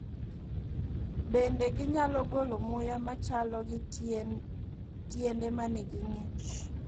Bende, ginyalo golo muya machalo gi tiende ma nigi ng’ich.